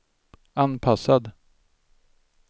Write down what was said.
anpassad